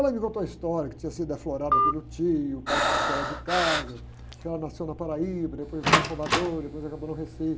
Ela me contou a história, que tinha sido aflorada pelo tio, o pai expulsou ela de casa, que ela nasceu na Paraíba, depois foi para Salvador, depois acabou no Recife.